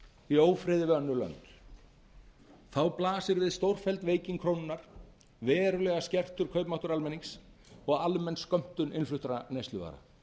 í ófriði við önnur lönd þá blasir við stórfelld veiking krónunnar verulega skertur kaupmáttur almennings og almenn skömmtun innfluttra neysluvara